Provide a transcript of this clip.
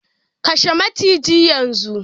Kashe maciji yanzu!